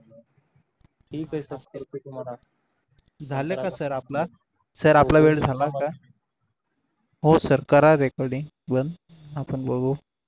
झाला का सर आपला सर आपला वेळ झाला का हो सर करा recording बंद आपण बघू.